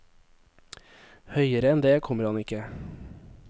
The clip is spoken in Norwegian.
Høyere enn det kommer han ikke.